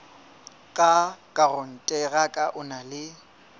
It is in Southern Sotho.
ka rakonteraka o na le